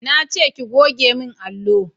Nace ki goge mun allo!